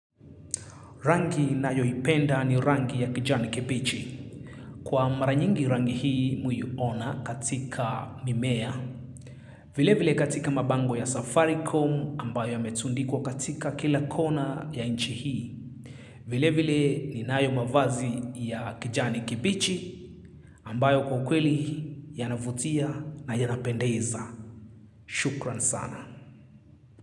Rangi ninayoipenda ni rangi ya kijani kibichi. Kwa mara nyingi rangi hii muiona katika mimea. Vile vile katika mabango ya safaricom ambayo yametundikwa katika kila kona ya nchi hii. Vile vile ninayo mavazi ya kijani kibichi ambayo kwa kweli yanavutia na yanapendeza. Shukran sana.